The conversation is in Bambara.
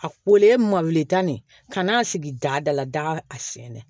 A wele ma weeleta de ka n'a sigi dada la daga a sen na